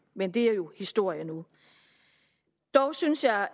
men det er jo historie nu dog synes jeg